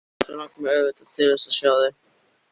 Svo langar mig auðvitað til þess að sjá þig.